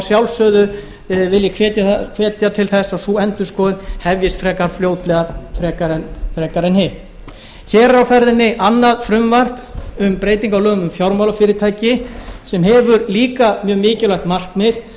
að sjálfsögðu vil ég hvetja til þess að sú endurskoðun hefjist frekar fljótlega en hitt hér er á ferðinni annað frumvarp um breytingu á lögum um fjármálafyrirtæki sem hefur líka mjög mikilvægt markmið